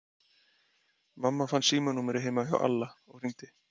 Mamma fann símanúmerið heima hjá Alla og hringdi.